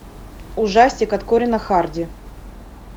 ужастик от корина харди